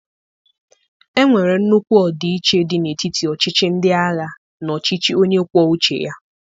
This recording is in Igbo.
Enwere nnukwu ọdịiche dị n'etiti ọchịchị ndị agha na ọchịchị onye kwuo uche ya